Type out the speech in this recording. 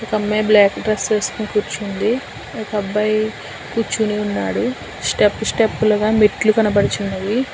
ఒక అమ్మాయి black dress వేసుకొని కూర్చుంది ఒక అబ్బాయి కూర్చొని ఉన్నాడు స్టెప్పు స్టెప్పు లుగా మెట్లు కనపడుతున్నవి.